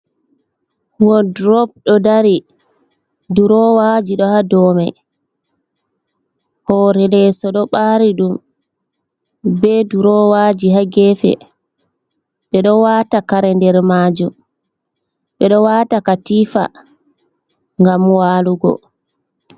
Woldrow do dari, durowaji do ha domai hore leso do bari dum be durowaji hagefe be do waata kare der maajum, ɓe do waata katifa gam walugo.